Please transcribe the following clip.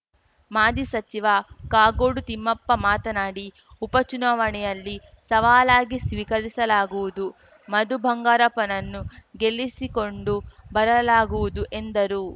ಮಾಜಿ ಸಚಿವ ಕಾಗೋಡು ತಿಮ್ಮಪ್ಪ ಮಾತನಾಡಿ ಉಪ ಚುನಾವಣೆಯಲ್ಲಿ ಸವಾಲಾಗಿ ಸ್ವೀಕರಿಸಲಾಗುವುದು ಮಧು ಬಂಗಾರಪ್ಪನನ್ನು ಗೆಲ್ಲಿಸಿಕೊಂಡು ಬರಲಾಗುವುದು ಎಂದರು